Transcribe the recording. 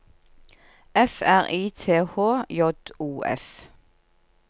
F R I T H J O F